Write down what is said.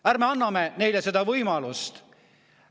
Ärme anname neile seda võimalust!